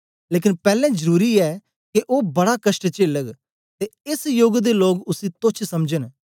लेकन पैलैं जरुरी ऐ के ओ बड़ा कष्ट चेलग ते एस योग दे लोक उसी तोच्छ समझन